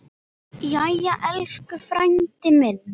Jæja, elsku frændi minn.